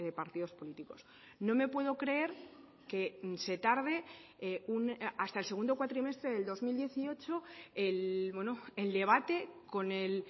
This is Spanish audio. partidos políticos no me puedo creer que se tarde hasta el segundo cuatrimestre del dos mil dieciocho el debate con el